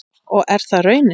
Og er það raunin?